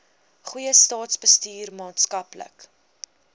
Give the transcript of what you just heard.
goeie staatsbestuur maatskaplike